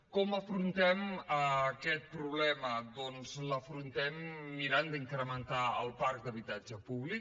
com afrontem aquest problema doncs l’afrontem mirant d’incrementar el parc d’habitatge públic